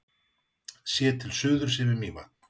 Séð til suðurs yfir Mývatn.